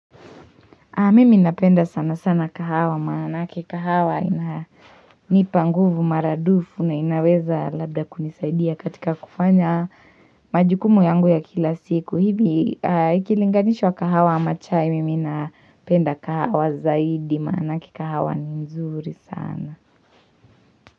Mimi ninapenda sana sana kahawa maanake kahawa ina nipa nguvu maradufu na inaweza labda kunisaidia katika kufanya majukumu yangu ya kila siku hivi ikilinganishwa kahawa na chai mimi ninapenda kahawa zaidi maanake kahawa ni mzuri sana.